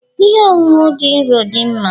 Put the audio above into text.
Ihe ọṅụṅụ dị nro dị mma?